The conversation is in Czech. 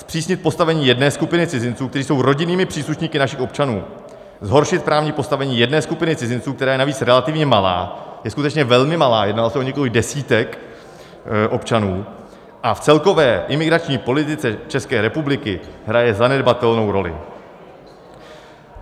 Zpřísnit postavení jedné skupiny cizinců, kteří jsou rodinnými příslušníky našich občanů, zhoršit právní postavení jedné skupiny cizinců, která je navíc relativně malá, je skutečně velmi malá, jedná se o několik desítek občanů, a v celkové imigrační politice České republiky hraje zanedbatelnou roli.